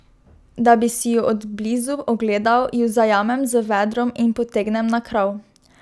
Da bi si ju od blizu ogledal, ju zajamem z vedrom in potegnem na krov.